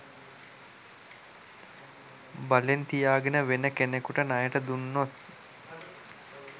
බලෙන් තියාගෙන වෙන කෙනෙකුට ණයට දුන්නොත්